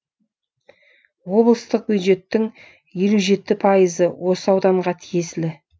облыстық бюджеттің елу жеті пайызы осы ауданға тиесілі